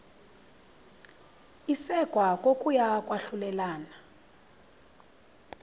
isekwa kokuya kwahlulelana